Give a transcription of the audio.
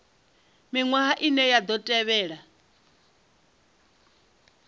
miṅwaha ine ya ḓo tevhela